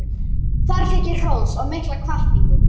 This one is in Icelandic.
Þar fékk ég hrós og mikla hvatningu.